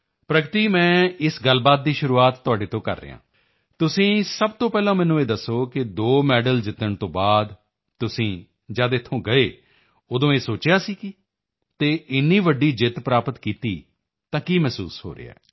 ਪ੍ਰਗਤੀ ਮੈਂ ਇਸ ਗੱਲਬਾਤ ਦੀ ਸ਼ੁਰੂਆਤ ਤੁਹਾਡੇ ਤੋਂ ਕਰ ਰਿਹਾ ਹਾਂ ਤੁਸੀਂ ਸਭ ਤੋਂ ਪਹਿਲਾਂ ਮੈਨੂੰ ਇਹ ਦੱਸੋ ਕਿ 2 ਮੈਡਲ ਜਿੱਤਣ ਤੋਂ ਬਾਅਦ ਤੁਸੀਂ ਜਦ ਇੱਥੋਂ ਗਏ ਉਦੋਂ ਇਹ ਸੋਚਿਆ ਸੀ ਕੀ ਅਤੇ ਇੰਨੀ ਵੱਡੀ ਜਿੱਤ ਪ੍ਰਾਪਤ ਕੀਤੀ ਤਾਂ ਕੀ ਮਹਿਸੂਸ ਹੋ ਰਿਹਾ ਹੈ